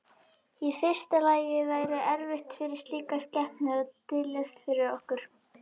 Í fyrsta lagi væri erfitt fyrir slíka skepnu að dyljast fyrir okkur.